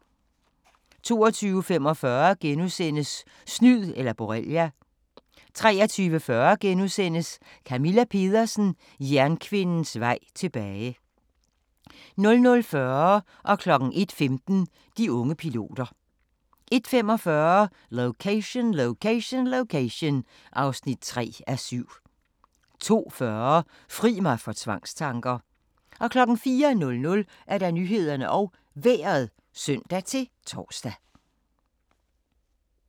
22:45: Snyd eller borrelia * 23:40: Camilla Pedersen – jernkvindens vej tilbage * 00:40: De unge piloter 01:15: De unge piloter 01:45: Location, Location, Location (3:7) 02:40: Fri mig for tvangstanker! 04:00: Nyhederne og Vejret (søn-tor)